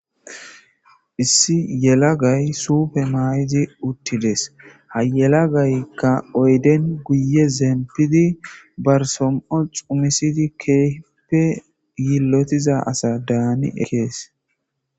Issi yelagay suufe may'idi uttides hayelagaykka oyden guye zeempidi barsom'o xumisidi keeppe yillotiza asa daani ekees.